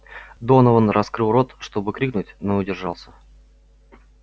донован раскрыл рот чтобы крикнуть но удержался